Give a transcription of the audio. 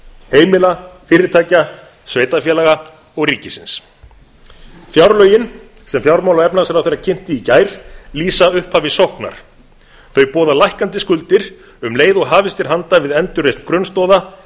heimila fyrirtækja sveitarfélaga og ríkisins fjárlögin sem fjármála og efnahagsráðherra kynnti í gær lýsa upphafi sóknar þau boða lækkandi skuldir um leið og hafist er handa við endurreisn grunnstoða